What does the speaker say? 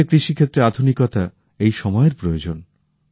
ভারতের কৃষি ক্ষেত্রে আধুনিকতা এই সময়ের প্রয়োজন